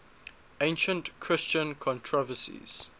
ancient christian controversies